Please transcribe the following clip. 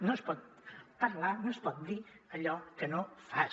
no es pot parlar no es pot dir allò que no fas